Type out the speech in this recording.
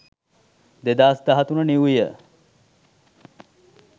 2013 new year